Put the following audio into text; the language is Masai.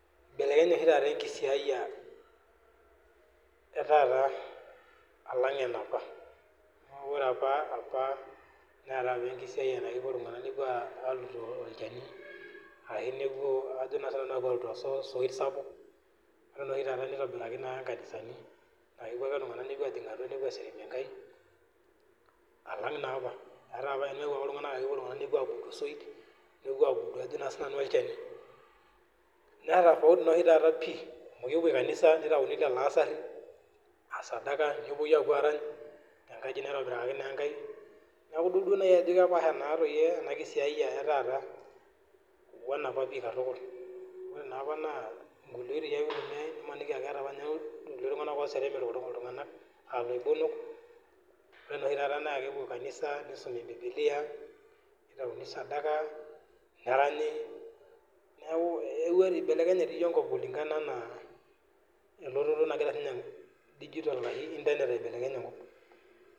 Eibelekenye oshi taata enkisiya etaata alang eniapa amu ore apa naata apa enkisiaya napuo iltung'ana aluto olchani ashu nepuo alutoo osit sapuk ore naa oshi taata nitobiraki enkanisani naa kepuo ake iltung'ana ajing atua nepuo aserem enkai alang naa apa ore naapa kepuo iltung'ana alutoo osoit nepuo abudu osoit ashu olchani naa tofauti naa oshi taata pii amu kepuoi kanisa naitawuni lelo asari aa sadaka nepuoi Arany tenkaji naitobirakaki naa enkai neeku edol Ajo kepashaa ena kisiaya etaata wena apa katukul ore naapa naa enkulie oitoi eitumiai nimaniki etaa iltung'ana oserem eloibonok ore naa oshi taata naa kepuoi kanisa nisumi bibilia nitayuni sadaka neranyi neeku eibelekenye naa enkop kulingana elototo nagira internet aibelekeny enkop